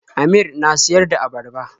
Amir na siyar da abarba.